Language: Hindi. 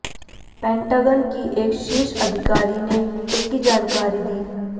पेंटागन की एक शीर्ष अधिकारी ने इसकी जानकारी दी